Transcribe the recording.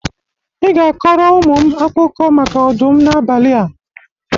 Ị ga-akọrọ ụmụ m akụkọ maka ọdụm n'abalị a.